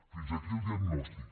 fins aquí el diagnòstic